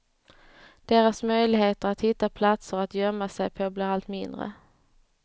Deras möjligheter att hitta platser att gömma sig på blir allt mindre.